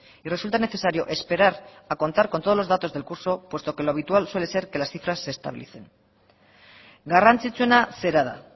y resulta necesario esperar a contar con todos los datos del curso puesto que lo habitual suele ser que las cifras se estabilicen garrantzitsuena zera da